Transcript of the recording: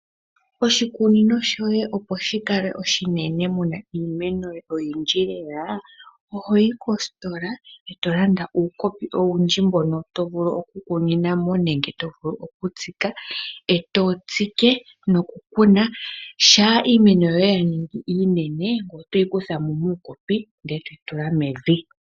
Oshikunino shoye opo shi kale oshinene muna iimeno oyindji lela, oho yi kositola eto landa uukopi owundji mbono to vulu oku kunina mo nenge to vulu oku tsika, eto tsike nokukuna. Shampa iimeno yoye ya ningi iinene, ngoye oto yi kutha mo muukopi ndele eto yi tula mevi.